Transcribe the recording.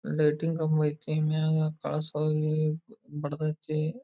ಹಾಗು ಅದಕೆ ಬಾರಿ ಡೆಕೋರೇಷನ್ ಮಾಡಿ ಬಾರಿ ಚೆನ್ನಾಗಿ ಮಾಡ್ತಾರೆ.